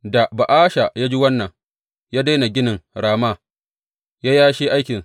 Da Ba’asha ya ji wannan, ya daina ginin Rama ya yashe aikinsa.